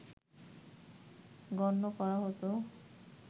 গণ্য করা হতো